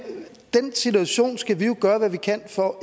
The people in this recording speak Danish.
den situation skal vi jo gøre hvad vi kan for